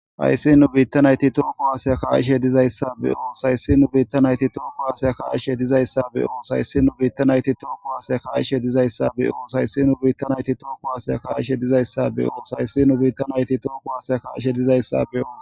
Hayssi nuu biitta natti toho kuwase ka'izayssa hayssi nuu biitta natti toho kuwase ka'ishe dizayssa be'os hayssi nu biitta naytti toho kuwase ka'ishe dizayssa be'os hayssi nu biitta naytti toho kuwase ka'ishe dizayssa be'os hayssi nu biitta naytti toho kuwase ka'ishe dizayssa be'os hayssi nu biitta naytti toho kuwase ka'ishe dizayssa be'os.